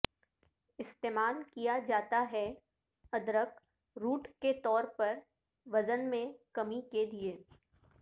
استعمال کیا جاتا ہے ادرک روٹ کے طور پر وزن میں کمی کے لئے